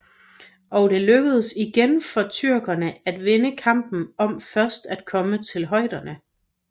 Og det lykkedes igen for tyrkerne at vinde kampen om først at komme til højderne